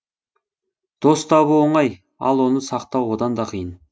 дос табу оңай ал оны сақтау одан да қиын